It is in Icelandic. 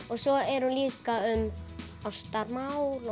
og svo er hún líka um ástarmál